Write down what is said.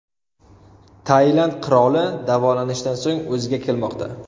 Tailand qiroli davolanishdan so‘ng o‘ziga kelmoqda .